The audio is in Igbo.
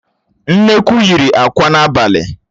Nnekwu yiri àkwá n'abalị